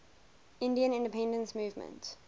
indian independence movement